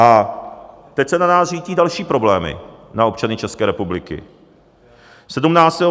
A teď se na nás řítí další problémy, na občany České republiky.